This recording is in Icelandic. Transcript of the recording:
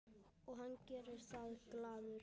Og hann gerir það glaður.